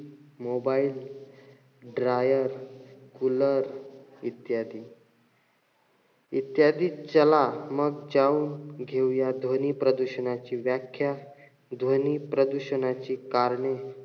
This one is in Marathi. Mobile, dryer, cooler इत्यादी. इत्यादी. चला म चाऊन घेऊया ध्वनी प्रदूषणाची व्याख्या, ध्वनी प्रदूषणाची कारणे,